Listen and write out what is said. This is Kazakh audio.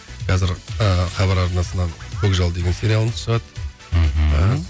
қазір ііі хабар арнасынан көкжал деген сериалымыз шығады мхм